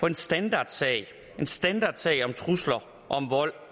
en standardsag standardsag om trusler om vold